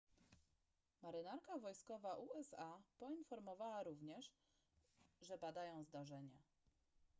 marynarka wojskowa usa poinformowała również że badają zdarzenie